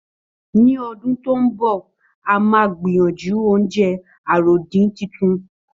Ní ọdún tó ń bọ̀, a máa gbìyànjú oúnjẹ àròdín titun